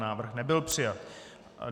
Návrh nebyl přijat.